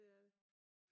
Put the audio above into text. Det er det